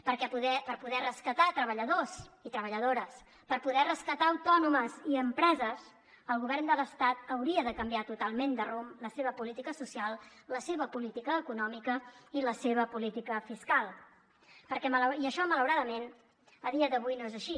perquè per poder rescatar treballadors i treballadores per poder rescatar autònomes i empreses el govern de l’estat hauria de canviar totalment de rumb la seva política social la seva política econòmica i la seva política fiscal i això malauradament a dia d’avui no és així